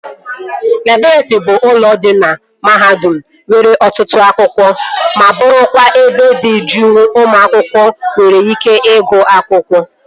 Laịbrị bụ ụlọ dị na mahadum nwere ọtụtụ akwụkwọ ma bụrụkwa ebe dị juu ụmụ akwụkwọ nwere ike ịgụ akwụkwọ